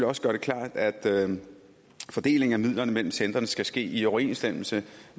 også gøre det klart at fordelingen af midlerne mellem centrene skal ske i overensstemmelse